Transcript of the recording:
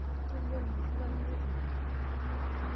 Kegol maishu, kinyokita ake.